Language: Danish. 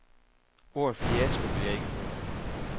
Ordet fiasko vil jeg ikke bruge.